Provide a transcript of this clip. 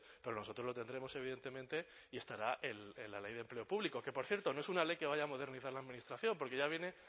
pero nosotros lo tendremos evidentemente y estará en la ley de empleo público que por cierto no es una ley que vaya a modernizar la administración porque ya viene